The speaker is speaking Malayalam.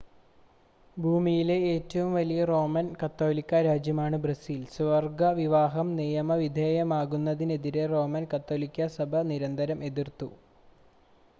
ഭൂമിയിലെ ഏറ്റവും വലിയ റോമൻ കത്തോലിക്കാ രാജ്യമാണ് ബ്രസീൽ സ്വവർഗ വിവാഹം നിയമവിധേയമാക്കുന്നതിനെ റോമൻ കത്തോലിക്കാ സഭ നിരന്തരം എതിർത്തു